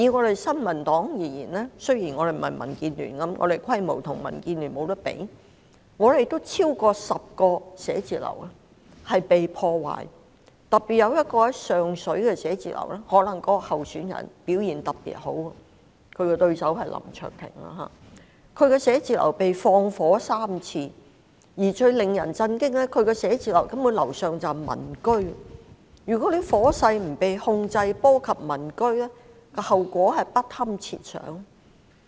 就新民黨而言，雖然我們的規模無法與民主建港協進聯盟相比較，但我們還是有超過10個辦公室被破壞，尤其位於上水的辦公室，或許是因為該區那位候選人表現特別好——他的對手是林卓廷——他的寫字樓曾三度被縱火，而最令人心寒的是，他的辦公室上層就是民居，一旦火勢不受控而波及民居的話，後果實在不堪設想。